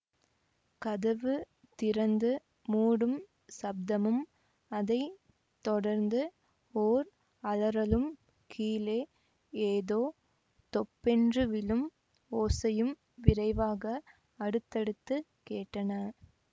கதவு திறந்து மூடும் சப்தமும் அதை தொடர்ந்து ஓர் அலறலும் கீழே ஏதோ தொப்பென்று விழும் ஓசையும் விரைவாக அடுத்தடுத்து கேட்டன